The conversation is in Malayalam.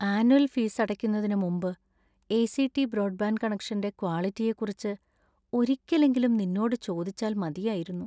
ആനുവൽ ഫീസ് അടയ്ക്കുന്നതിന് മുമ്പ് എ.സി.ടി. ബ്രോഡ്ബാൻഡ് കണക്ഷന്‍റെ ക്വാളിറ്റിയെക്കുറിച്ച് ഒരിക്കലെങ്കിലും നിന്നോട് ചോദിച്ചാൽ മതിയായിരൂന്നു .